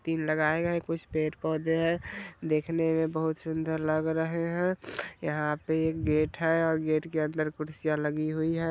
तीन लगाए गए हैं कुछ पेड़-पौधे हैं। देखने में बोहोत सुंदर लग रहे हैं। यहाँ पे एक गेट है और गेट के अंदर कुर्सियां लगी हुई हैं।